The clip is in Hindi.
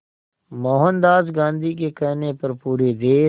मोहनदास गांधी के कहने पर पूरे देश